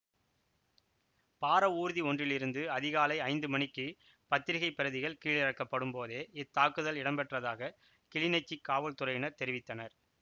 பாரவூர்தி ஒன்றில் இருந்து அதிகாலை ஐந்து மணிக்கு பத்திரிகைப் பிரதிகள் கீழிறக்கப்படும் போதே இத்தாக்குதல் இடம்பெற்றதாக கிளிநொச்சிக் காவல்துறையினர் தெரிவித்தனர்